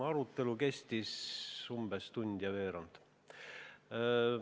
Arutelu kestis umbes tund ja veerand.